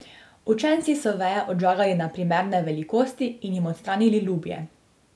Učenci so veje odžagali na primerne velikosti in jim odstranili lubje.